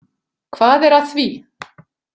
Hvað er að því?